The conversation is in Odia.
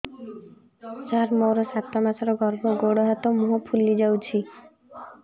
ସାର ମୋର ସାତ ମାସର ଗର୍ଭ ଗୋଡ଼ ହାତ ମୁହଁ ଫୁଲି ଯାଉଛି